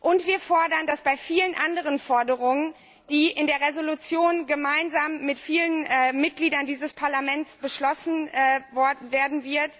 Und wir fordern, dass bei vielen anderen Forderungen, die in der Entschließung gemeinsam mit vielen Mitgliedern dieses Parlaments beschlossen werden wird,